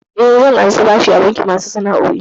Eh, zan karɓi bashi a bankin masu sana'o'i.